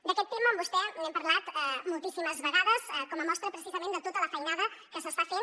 d’aquest tema amb vostè n’hem parlat moltíssimes vegades com a mostra precisament de tota la feinada que s’està fent